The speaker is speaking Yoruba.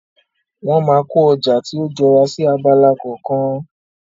Wọ́n máa kó ọjà tí ó jọra sí abala kọ̀ọ̀kan.